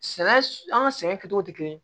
Sɛnɛ an ka sɛnɛ kɛcogo tɛ kelen ye